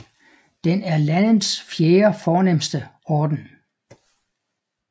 Den er landets fjerde fornemste orden